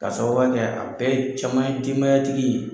Ka sababuya kɛ a bɛɛ a caman ye denbayatigi ye.